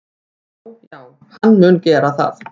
Já já, hann mun gera það.